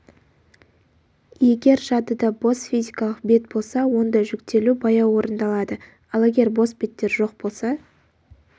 егер жадыда бос физикалық бет болса онда жүктелу баяу орындалады ал егер бос беттер жоқ болса